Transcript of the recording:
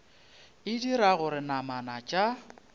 e dira gore namana tša